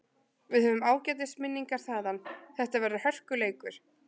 Við höfum ágætis minningar þaðan, þetta verður hörkuleikur.